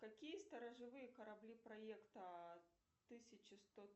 какие сторожевые корабли проекта тысяча сто